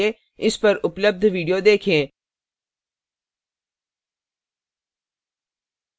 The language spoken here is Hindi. इस पर उपलब्ध video देखें